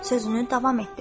Sözünü davam etdir.